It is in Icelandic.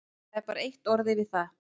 Það er bara eitt orð yfir það.